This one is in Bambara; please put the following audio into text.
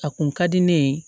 A kun ka di ne ye